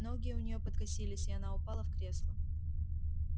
ноги у неё подкосились и она упала в кресло